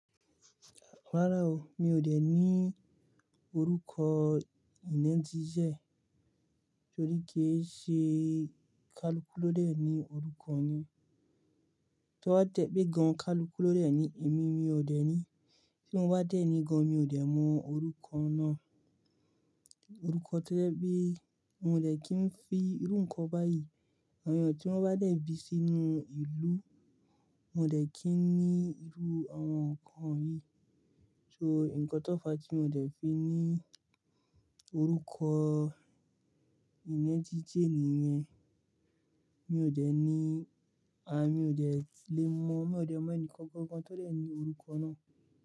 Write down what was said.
Rárá o, mi ò dẹ̀ níi orúkọ ìnẹ́ńjí jẹ, torí kíì ṣe kaluku ló dẹ̀ ní orúkọ ni. Tọ a tẹ̀ pé gan kaluku ló dẹ̀ ní ẹ̀mí, mi ò dẹ̀ ní, tí n wá dẹ̀ ní gan mi ò dẹ̀ mọ orúkọ náà. Orúkọ to ẹ̀ pe, n ò dẹ̀ kí n fi irú nǹkan báyìí, àwọn èèyàn tí wọ́n bá dẹ̀ bí sínú ìlú, n ò dẹ̀ kí ní irú àwọn nǹkan yìí. So, nǹkan tó fa tí n ò dẹ̀ fi ní orúkọ ìnẹjijin níyẹn. Mi ò dẹ̀ ní, à mi ò dẹ̀ lè mọ̀, mi ò dẹ̀ mọ ẹnìkan kankan tó dẹ̀ ní orúkọ náà.